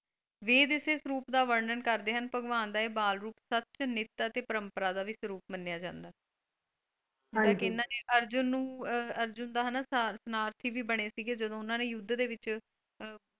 ਵੇਦ ਇਸੇ ਸਰੂਪ ਦਾ ਵਰਨਣ ਕਰਦੇ ਹਨ ਭਗਵਾਨ ਦਾ ਇਹ ਬਾਲ ਰੂਪ ਸੱਚ ਨੀਤ ਅਤੇ ਪਰੰਪਰਾ ਦਾ ਵੀ ਸਰੂਪ ਮੰਨਿਆ ਜਾਂਦਾ ਹੈ ਅਰਜੁਨ ਨੂੰ ਆਹ ਅਰਜੁਨ ਦਾ ਹਨਾਂ ਸਨਾਰਥੀ ਵੀ ਬਣੇ ਸੀਗੇ ਜਦੋਂ ਉਹਨਾਂ ਨੇ ਯੁੱਧ ਵਿੱਚ,